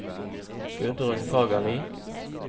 Gudrun Fagerli